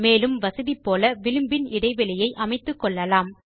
மேலும் வசதி போல விளிம்பின் இடைவெளியை அமைத்துக்கொள்ளலாம்